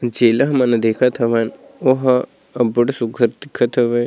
जेला हमन हा देखत हवन ओहा अब्बड़ सुग्घर दिखत हवय।